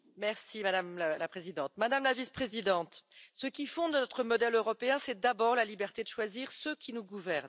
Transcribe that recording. Madame la Présidente, Madame la Vice présidente, ce qui fonde notre modèle européen, c'est d'abord la liberté de choisir ceux qui nous gouvernent.